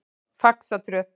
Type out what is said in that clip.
Faxatröð